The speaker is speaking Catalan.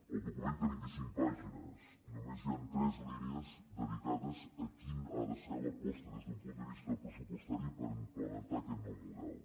el document té vint i cinc pàgines i només hi han tres línies dedicades a quina ha de ser l’aposta des d’un punt de vista pressupostari per implementar aquest nou model